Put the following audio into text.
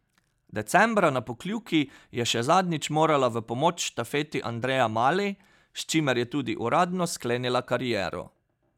Decembra na Pokljuki je še zadnjič morala v pomoč štafeti Andreja Mali, s čimer je tudi uradno sklenila kariero.